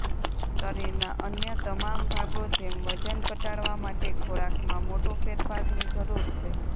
શરીરના અન્ય તમામ ભાગો જેમ વજન ઘટાડવા માટે ખોરાકમાં મોટો ફેરફારની જરૂર છે